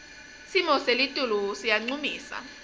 simo selitulu siyancumisa